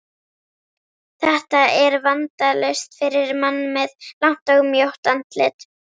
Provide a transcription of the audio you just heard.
Þetta er vandalaust fyrir mann með langt og mjótt andlit.